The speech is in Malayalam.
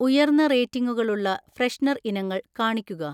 ഉയർന്ന റേറ്റിംഗുകളുള്ള ഫ്രെഷ്നർ ഇനങ്ങൾ കാണിക്കുക